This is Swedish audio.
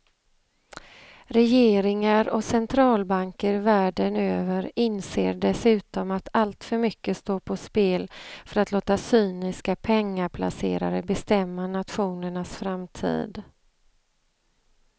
Regeringar och centralbanker världen över inser dessutom att alltför mycket står på spel för att låta cyniska pengaplacerare bestämma nationernas framtid.